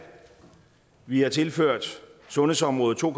vi har tilført sundhedsområdet to